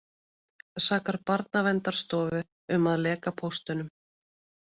Sakar Barnaverndarstofu um að leka póstunum